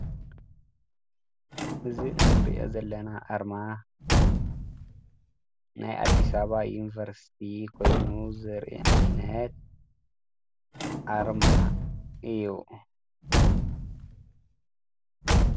እዚ እንሪኦ ዘለና ኣርማ ናይ ኣዲስ ኣበባ ዩንቨርስቲ ኮይኑ ዘርኢ ዓይነት ኣርማ እዩ ።